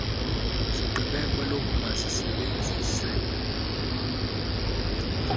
sigqibe kwelokuba sisebenzise